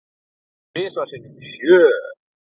Tvisvar sinnum sjö.